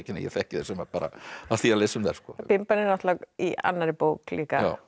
ég þekki þær sumar af því að lesa um þær bimban er náttúrulega í annarri bók líka já